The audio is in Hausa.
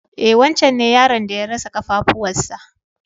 E wancen ne yaron da ya rasa ƙafafuwan sa.